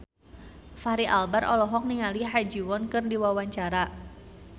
Fachri Albar olohok ningali Ha Ji Won keur diwawancara